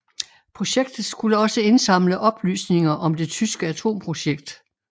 Projektet skulle også indsamle oplysninger om det tyske atomprojekt